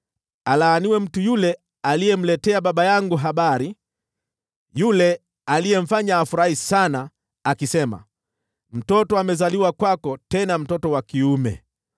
Alaaniwe mtu yule aliyemletea baba yangu habari, yule aliyemfanya afurahi sana, akisema, “Mtoto amezaliwa kwako, tena mtoto wa kiume!”